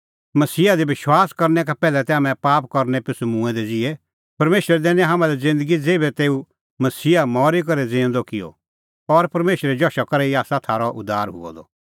मसीहा दी विश्वास करनै का पैहलै तै हाम्हैं पाप करनै पिछ़ू मूंऐं दै ज़िहै तै परमेशरै दैनी हाम्हां लै ज़िन्दगी ज़ेभै तेऊ मसीहा मरी करै भी ज़िऊंदअ किअ और परमेशरे जशा करै ई आसा थारअ उद्धार हुअ द